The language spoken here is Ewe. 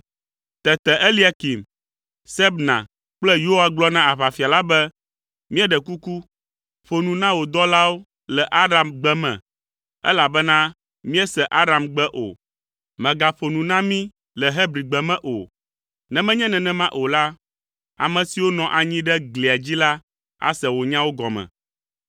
Tete Eliakim, Sebna kple Yoa gblɔ na aʋafia la be, “Míeɖe kuku, ƒo nu na wò dɔlawo le Aramgbe me, elabena míese Aramgbe. Mègaƒo nu na mi le Hebrigbe me o. Ne menye nenema o la, ame siwo nɔ anyi ɖe glia dzi la ase wò nyawo gɔme.”